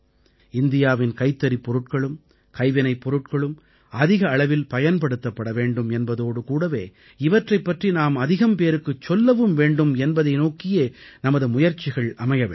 இந்தியாவின் கைத்தறிப் பொருட்களும் கைவினைப் பொருட்களும் அதிக அளவில் பயன்படுத்தப்பட வேண்டும் என்பதோடு கூடவே இவற்றைப் பற்றி நாம் அதிகம் பேருக்குச் சொல்லவும் வேண்டும் என்பதை நோக்கியே நமது முயற்சிகள் அமைய வேண்டும்